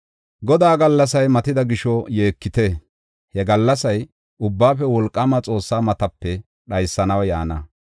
Godaa gallasay matida gisho yeekite! He gallasay Ubbaafe Wolqaama Xoossaa matape dhaysanaw yaana.